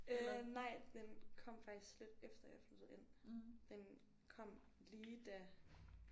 Øh nej den kom faktisk lidt efter jeg flyttede ind. Den kom lige da